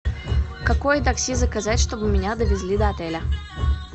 какое такси заказать чтобы меня довезли до отеля